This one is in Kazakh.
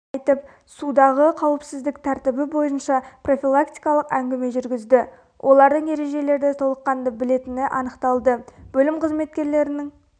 айтып судағы қауіпсіздік тәртібі бойынша профилактикалық әнгіме жүргізді олардың ережелерді толыққанды біоетіні анықталды бөлім қызметкерінің